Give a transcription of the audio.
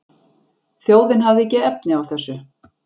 Þjóðin hafði ekki efni á þessu